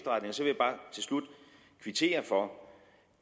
slut kvittere for